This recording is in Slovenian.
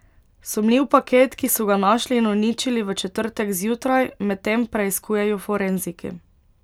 Sumljiv paket, ki so ga našli in uničili v četrtek zjutraj, medtem preiskujejo forenziki.